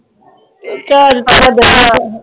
ਚਲ ਛੱਡ ਪਰਾ